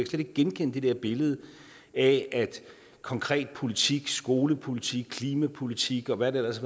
slet ikke genkende det der billede af at konkret politik skolepolitik klimapolitik og hvad der ellers